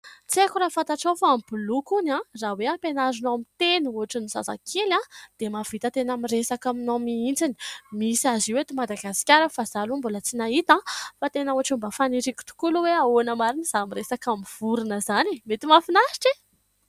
Tsy haiko raha fantatrao fa ny boloky hono an, raha hoe hampianarinao miteny ohatran'ny zazakely an, dia mahavita tena miresaka aminao mihitsy. Misy azy io eto Madagasikara fa izaho aloha mbola tsy nahita an, fa tena ohatran'ny mba faniriko tokola aloha hoe ahoana marina izany miresaka amin'ny vorona izany, mety mahafinaritra e ?